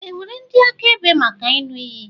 È nwere ndị akaebe maka ịṅụ iyi?